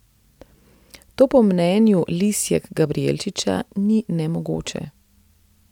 To po mnenju Lisjak Gabrijelčiča ni nemogoče.